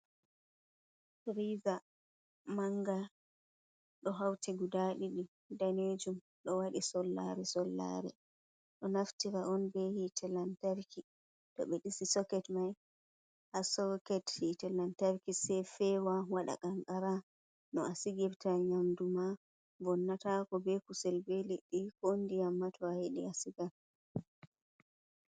Friza manga ɗo hauti guda ɗiɗi, danejum ɗo waɗi sollare-sollare, ɗo naftira on be hite lantarki, to ɓe dasi soket mai ha soket hitelantarki sei fewa waɗa qanqara no a sigirta nyamdu ma vonnatako, be kusel be leɗɗi ko ndiyam ma to a yeɗi a sigan.